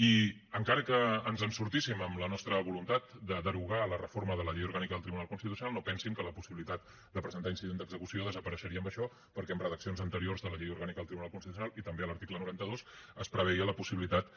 i encara que ens en sortíssim amb la nostra voluntat per derogar la reforma de la llei orgànica del tribunal constitucional no pensin que la possibilitat de presentar incident d’execució desapareixeria amb això perquè en redaccions anteriors de la llei orgànica del tribunal constitucional i també a l’article noranta dos es preveia la possibilitat